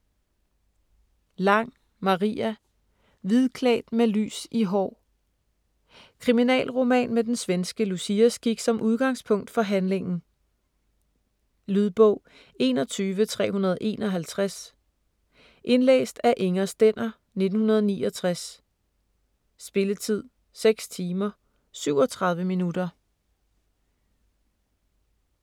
Lang, Maria: Hvidklædt med lys i hår Kriminalroman med den svenske Luciaskik som udgangspunkt for handlingen. Lydbog 21351 Indlæst af Inger Stender, 1969. Spilletid: 6 timer, 37 minutter.